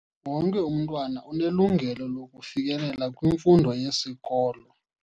Wonke umntwana unelungelo lokufikelela kwimfundo yesikolo.